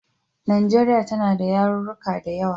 Najeriya tana ta yaruruka da yawa.